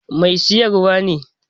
Mai siyarwar ne.